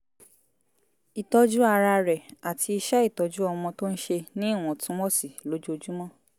ìtọ́jú ara rẹ̀ àti iṣẹ́ ìtọ́jú ọmọ tó ń ṣe ní ìwọ̀ntúnwọ̀nsí lójoojúmọ́